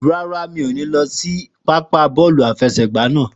Rárá, mi ò ní lọ sí pápá bọ́ọ̀lù àfẹsẹ̀gbá naa.